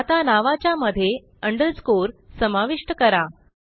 आता नावाच्या मध्ये अंडरस्कोर समाविष्ट करा